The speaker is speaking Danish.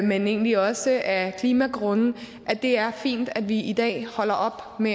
men egentlig også af klimagrunde at det er fint at vi i dag holder op med